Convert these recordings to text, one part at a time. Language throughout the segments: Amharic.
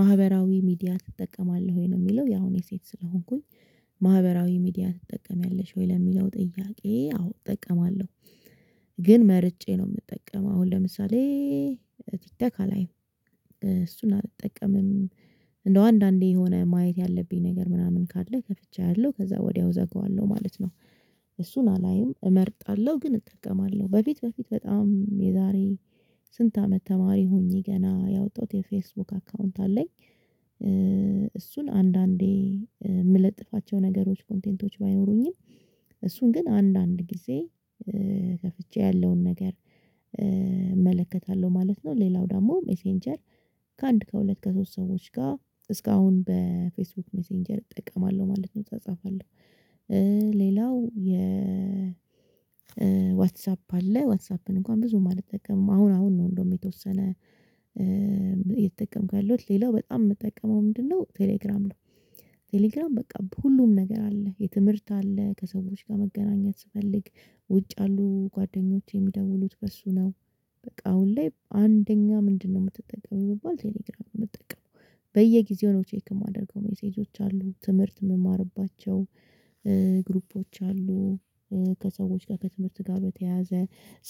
ማህበራዊ ሚዲያ ትጠቀማለህ ወይ ነው የሚለው? ያው እኔ ሴት ስለሆንኩኝ። ማህበራዊ ሚዲያ ትጠቀሚያለሽ ወይ ለሚለው ጥያቄ አዎ እጠቀማለሁ። ግን መርጬ ነው የምጠቀመው አሁን ለምሳሌ ቲክቶክ ካላይም እሱን አልጠቀምም። እንደው አንዳንዴ የሆነ ማየት ያለብኝ ነገር ምናምን ካለ ከፍቼ አያለሁ ከዛ ወዲያው እዘጋዋለሁ ማለት ነው። እሱን አላይም እመርጣለሁ ግን እጠቀማለሁ በፊት በፊት በጣም የዛሬ ስንት አመት ተማሪ ሆኜ ገና ያወጣሁት የፌስቡክ አካውንት አለኝ። እሱን አንዳንዴ የምለጥፋቸው ነገሮች ኮንቴንቶች ባይኖሩኝም እሱን ግን አንዳንድ ጊዜ ከፍቼ ያለውን ነገር እመለከታለሁ ማለት ነው። ሌላው ደግሞ ሜሴንጀር ከአንድ ከሁለት ከሶስት ሰዎች ጋር እስካሁን በፌስቡክ ሜሴንጀር እጠቀማለሁ ማለት ነው። እፃፃፋለሁ እ ሌላው የ ዋትስአፕ አለ ዋትአፕን እንኳን ብዙም አልጠቀምም። አሁን አሁን ነው እንደውም የተወሰነ እየተጠቀምኩ ያለሁት ሌላው በጣም የምትጠቀመው ምንድነው? ቴሌግራም ነው። ቴሌግራም በቃ ሁሉም ነገር አለ የትምህርት አለ ከሰዎች ጋር መገናኘት ስፈልግ ውጭ ያሉ ጓደኞቼ የሚደውሉት በእሱ ነው። በቃ አሁን ላይ አንደኛ ምንድነው የምትጠቀሚው ብባል ቴሌግራም ነው የምጠቀመው። በየጊዜው ነው ቼክ የማደርገው ሜሴጆች አሉ ትምህርት የምማርባቸው ግሩፖች አሉ። ከሰዎች ጋር ከትምህርት ጋር በተያያዘ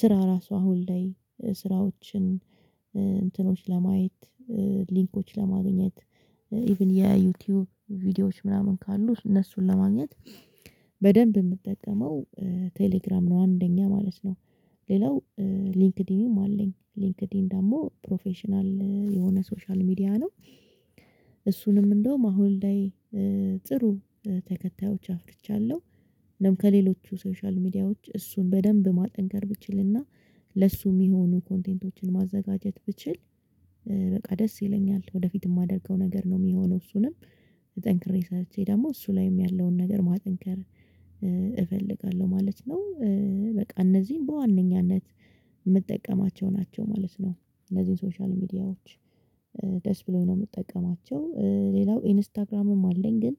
ስራ ራሱ አሁን ላይ ስራዎችን እንትኖች ለማየት ሊንኮች ለማግኘት ኢቭን የዩቲዩብ ቪዲዮዎች ምናምን ካሉ እነሱን ለማግኘት በደንብ የምጠቀመው ቴሌግራም ነው። አንደኛ ማለት ነው። ሌላው ሊንክድኢንም አለኝ ሊንክድኢን ደግሞ ፕሮፌሽናል የሆነ ሶሻል ሚዲያ ነው። እሱንም እንደውም አሁን ላይ ጥሩ ተከታዮች አፍርቻለሁ ከሌሎቹ ሶሻል ሚዲያዎች እሱን በደንብ ማጠንከር ብችልና ለእሱ የሚሆኑ ኮንቴንቶችን ማዘጋጀት ብችል። በቃ ደስ ይለኛል ወደፊት የማደርገው ነገር ነው የሚሆነው እሱንም ጠንክሬ ሰርቼ ደግሞ እሱ ላይም ያለውን ነገር ማጠንከር እፈልጋለሁ ማለት ነው። በቃ እነዚህን በዋነኛነት የምጠቀማቸው ናቸው ማለት ነው። እነዚህን ሶሻል ሚዲያዎች ደስ ብሎኝ ነው የምጠቀማቸው ሌላው ኢንስታግራምም አለኝ ግን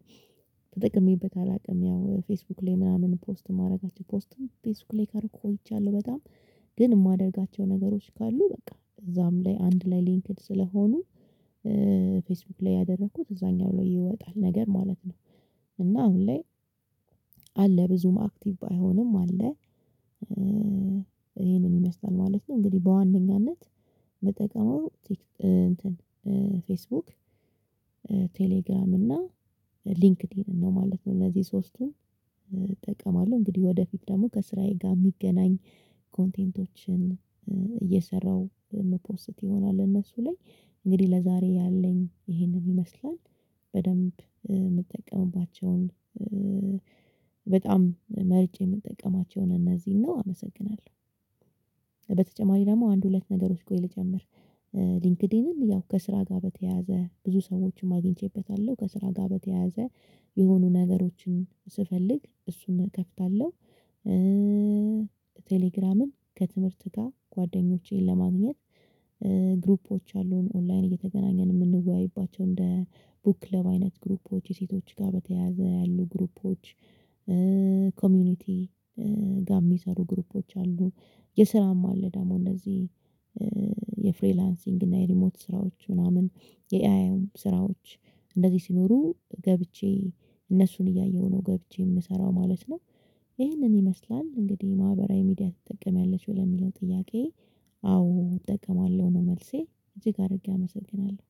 ተጠቅሜበት አላውቅም። ያው ፌስቡክ ላይ ምናምን ፖስት የማደርጋቸው ፖስትም ፌስቡክ ላይ ካደረኩ ቆይቻለሁ በጣም ግን የማደርጋቸው ነገሮች ካሉ በቃ እዛም ላይ አንድ ላይ ሊንክድ ስለሆኑ ፌስቡክ ላይ ያደረኩት እዛኛው ላይ ይወጣል ነገር ማለት ነው። እና አሁን ላይ አለ ብዙም አክቲቭ ባይሆንም አለ። ይሄንን ይመስላል ማለት ነው እንግዲህ በዋነኛነት የምጠቀመው ፌስቡክ ቴሌግራም እና ሊንክድኢንን ነው ማለት ነው። እነዚህ ሶስቱን እጠቀማለሁ እንግዲህ ወደፊት ደግሞ ከስራዬ ጋር የሚገናኝ ኮንቴንቶችን እየሰራሁ እምፖስት ይሆናል። እነሱ ላይ እንግዲህ ለዛሬ ያለኝ ይሄንን ይመስላል። በደንብ የምጠቀምባቸውን በጣም መርጬ የምጠቀማቸው እነዚህን ነው አመሰግናለሁ። በተጨማሪ ደግሞ አንድ ሁለት ነገሮች ቆይ ልጨምር ሊንክድኢንን ያው ከስራ ጋር በተያያዘ ብዙ ሰዎችንም አግኝቼበታለሁ ከስራ ጋር በተያያዘ የሆኑ ነገሮችን ስፈልግ እሱን እከፍታለሁ። ቴሌግራምን ከትምህርት ጋር ጓደኞቼን ለማግኘት ግሩፖች አሉን ኦንላይን እየተገናኘን የምንወያይባቸው እንደ ቡክ ክለብ አይነት ግሩፖች ሴቶች ጋር በተያያዘ ያሉ ግሩፖች ኮሚኒቲ ጋር የሚሰሩ ግሩፖች አሉ። የስራም አለ ደግሞ እንደዚህ የፍሪላንሲንግ እና የሪሞት ስራዎች ምናምን የኤአይም ስራዎች እንደዚህ ሲኖሩ ገብቼ እነሱን እያየሁ ነው ገብቼ የምሰራው ማለት ነው። ይህንን ይመስላል እንግዲህ ማህበራዊ ሚዲያ ትጠቀሚያለሽ ወደሚለው ጥያቄ። አዎ እጠቀማለሁ። ነው መልሴ እጅግ አድርጌ አመሰግናለሁ።